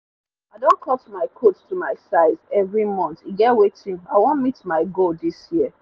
i don cut my coat to my size every month e get wetin i wan meet my goal this year